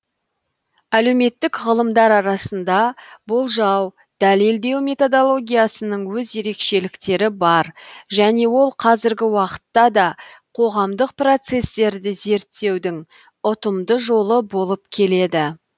әлеуметтік ғылымдар арасында болжау дәлелдеу методологиясының өз ерекшеліктері бар және ол қазіргі уақытта да қоғамдық процестерді зерттеудің ұтымды жолы болып келеді